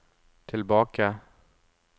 tilbake